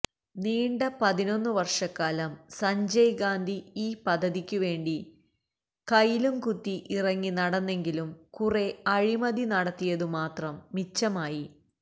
നീണ്ട പതിനൊന്നു വര്ഷക്കാലം സഞ്ജയ് ഗാന്ധി ഈ പദ്ധതിക്കുവേണ്ടി കയിലും കുത്തി ഇറങ്ങിനടന്നെങ്കിലും കുറെ അഴിമതി നടത്തിയതുമാത്രം മിച്ചമായി